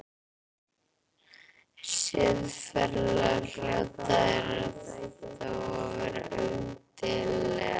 Siðferðilega hljóta þær þó að vera umdeilanlegar.